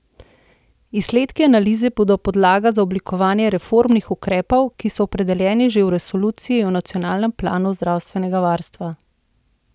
Izsledki analize bodo podlaga za oblikovanje reformnih ukrepov, ki so opredeljeni že v resoluciji o nacionalnem planu zdravstvenega varstva.